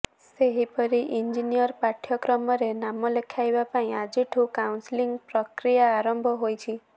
ସେହିପରି ଇଞ୍ଜିନିଅରିଂ ପାଠ୍ୟକ୍ରମରେ ନାମ ଲେଖାଇବା ପାଇଁ ଆଜିଠୁ କାଉନ୍ସେଲିଂ ପ୍ରକ୍ରିୟା ଆରମ୍ଭ ହୋଇଛି